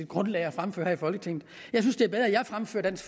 grundlag at fremføre her i folketinget jeg synes det er bedre at jeg fremfører dansk